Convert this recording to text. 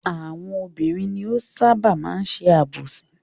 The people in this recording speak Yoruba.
Àwọn obìnrin ni ó ṣábà máa ń ṣe àbòsí.